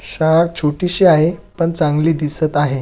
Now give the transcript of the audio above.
शाळा छोटी शी आहे पण चांगली दिसत आहे.